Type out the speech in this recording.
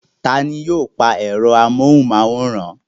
Taani yóò pa ẹ̀rọ amóhùnmáwòrán.